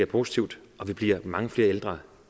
positivt og vi bliver mange flere ældre